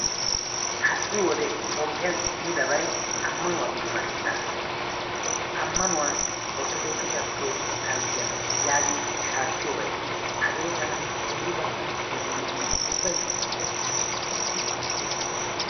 Ha"i wodiyan toophphiyan kumidabayi ammanuwa dummatettaa ammanuwan orttodookisiya pirootesttanttiya yaagin shaakkiyobayi de"es. Hagee tana aybakka lo"enna ubbayi issippe shiiqidi kushettiyakko lo"es.